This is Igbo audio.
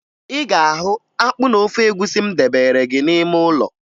Ị ga-ahụ akpụ na ofe egwusi m debere gị n'ime ụlọ